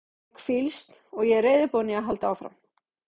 Ég hef hvílst og er reiðubúinn í að halda áfram.